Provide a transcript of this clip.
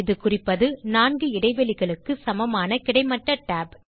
இது குறிப்பது 4 இடைவெளிகளுக்கு சமமான கிடைமட்ட tab